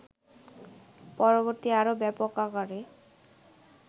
পরবর্তীতে আরও ব্যাপক আকারে